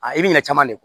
A i bi ɲin'a caman de kun